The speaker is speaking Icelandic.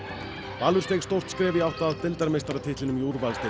Valur steig stórt skref í átt að deildarmeistaratitlinum í úrvalsdeild